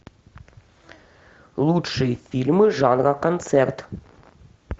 лучшие фильмы жанра концерт